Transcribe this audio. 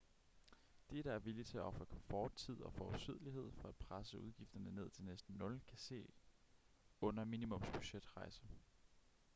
de der er villige til at ofre komfort tid og forudsigelighed for at presse udgifterne ned til næsten nul kan se under minimumsbudgetrejse